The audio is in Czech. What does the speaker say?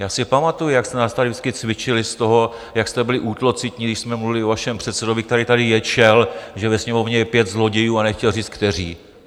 Já si pamatuji, jak jste nás tady vždycky cvičili z toho, jak jste byli útlocitní, když jsme mluvili o všem předsedovi, který tady ječel, že ve Sněmovně je pět zlodějů, a nechtěl říct kteří.